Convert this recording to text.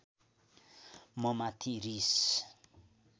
ममाथि रिस